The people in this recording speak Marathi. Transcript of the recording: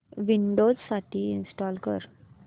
विंडोझ साठी इंस्टॉल कर